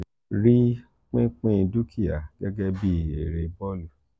ri pinpin dúkìá gege bi ere bọ́ọ̀lù